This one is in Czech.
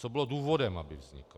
Co bylo důvodem, aby vznikl.